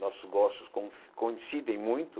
Nossos gostos con coincidem muito.